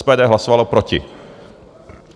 SPD hlasovalo proti.